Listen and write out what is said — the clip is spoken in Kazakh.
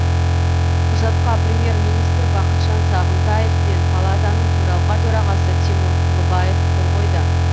құжатқа премьер министр бақытжан сағынтаев пен палатаның төралқа төрағасы тимур құлыбаев қол қойды